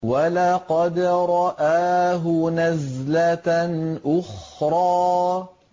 وَلَقَدْ رَآهُ نَزْلَةً أُخْرَىٰ